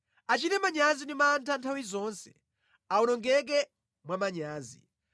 Achite manyazi ndi mantha nthawi zonse; awonongeke mwa manyazi.